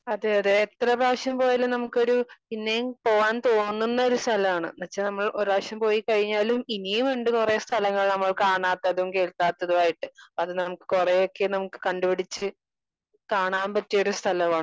Speaker 2 അതെ അതെ എത്ര പ്രാവശ്യം പോയാലും നമുക്കൊരു പിന്നെയും പോവാൻ തോന്നുന്ന ഒരു സ്ഥലാണ്. പക്ഷെ നമ്മൾ ഒരു പ്രാവശ്യം പോയി കഴിഞ്ഞാലും ഇനിയുമുണ്ട് കുറേ സ്ഥലങ്ങൾ നമ്മൾ കാണാത്തതും കേൾക്കാത്തതുമായിട്ട്. അപ്പൊ അത് കൊറെയൊക്കെ നമുക്ക് കണ്ടുപിടിച്ചു കാണാൻ പറ്റിയൊരു സ്ഥലമാണ്